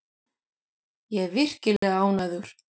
Ég er virkilega ánægður.